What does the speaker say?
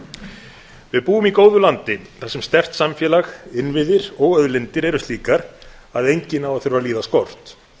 við búum í góðu landi þar sem sterkt samfélag innviðir og auðlindir eru slíkar að enginn á að þurfa að líða skort